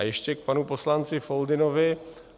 A ještě k panu poslanci Foldynovi.